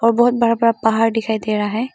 बहोत बड़ा बड़ा पहाड़ दिखाई दे रहा है।